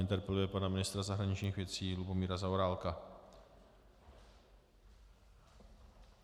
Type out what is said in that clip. Interpeluje pana ministra zahraničních věcí Lubomíra Zaorálka.